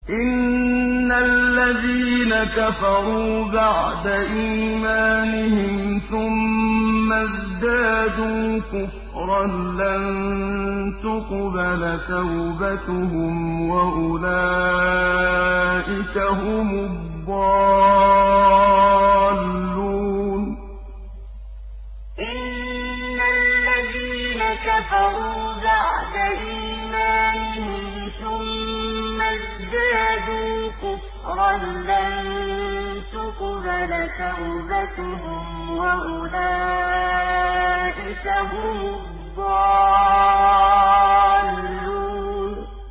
إِنَّ الَّذِينَ كَفَرُوا بَعْدَ إِيمَانِهِمْ ثُمَّ ازْدَادُوا كُفْرًا لَّن تُقْبَلَ تَوْبَتُهُمْ وَأُولَٰئِكَ هُمُ الضَّالُّونَ إِنَّ الَّذِينَ كَفَرُوا بَعْدَ إِيمَانِهِمْ ثُمَّ ازْدَادُوا كُفْرًا لَّن تُقْبَلَ تَوْبَتُهُمْ وَأُولَٰئِكَ هُمُ الضَّالُّونَ